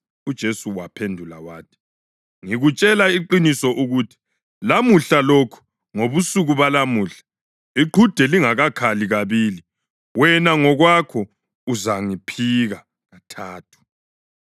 UJesu wamphendula wathi, “Ngikutshela iqiniso ukuthi lamuhla lokhu, ngobusuku balamuhla, iqhude lingakakhali kabili, wena ngokwakho uzangiphika kathathu.”